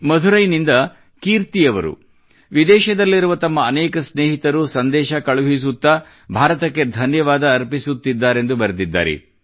ಮಧುರೈನಿಂದ ಕೀರ್ತಿ ಅವರು ವಿದೇಶದಲ್ಲಿರುವ ತಮ್ಮ ಅನೇಕ ಸ್ನೇಹಿತರು ಸಂದೇಶ ಕಳುಹಿಸುತ್ತಾ ಭಾರತಕ್ಕೆ ಧನ್ಯವಾದ ಅರ್ಪಿಸುತ್ತಿದ್ದಾರೆಂದು ಬರೆದಿದ್ದಾರೆ